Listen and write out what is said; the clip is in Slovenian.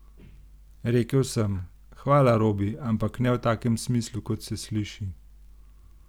Rekel sem: 'Hvala Robi', ampak ne v takem smislu, kot se sliši.